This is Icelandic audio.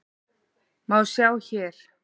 má sjá hér.